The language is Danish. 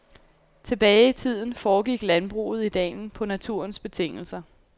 Tilbage i tiden foregik landbruget i dalen på naturens betingelser.